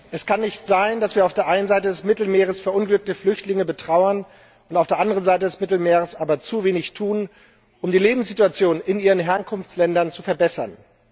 Es kann nicht sein, dass wir auf der einen Seite des Mittelmeeres verunglückte Flüchtlinge betrauern und auf der anderen Seite des Mittelmeeres aber zu wenig tun, um die Lebenssituation in ihren Herkunftsländern zu verbessern.